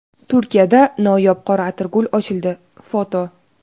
Turkiyada noyob qora atirgul ochildi (foto).